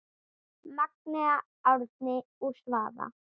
Magnea, Árni og Svava.